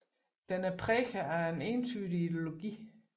Den er præget af en entydig ideologi